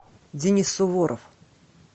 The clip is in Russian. денис суворов